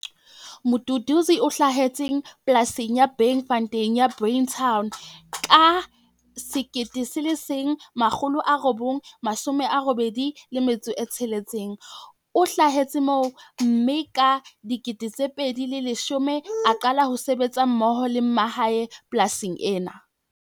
Mduduzi o hlahetse polasing ya Bankfontein ya Breyton ka 1986. O holetse moo, mme ka 2010 a qala ho sebetsa mmoho le mmae polasing ena.